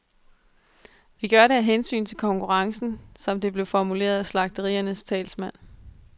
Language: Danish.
Vi gør det af hensyn til konkurrencen, som det blev formuleret af slagteriernes talsmand.